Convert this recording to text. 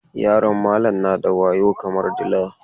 Yaron malam na da wayo kamar dila.